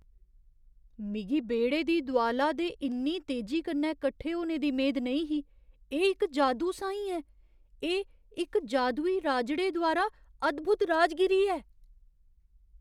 मिगी बेह्ड़े दी दोआला दे इन्नी तेजी कन्नै कट्ठे होने दी मेद नेईं ही एह् इक जादू साहीं ऐ! एह् इक जादूई राजड़े द्वारा अद्भुत राजगीरी ऐ।